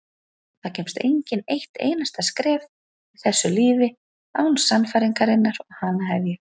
Það kemst enginn eitt einasta skref í þessu lífi án sannfæringarinnar og hana hef ég.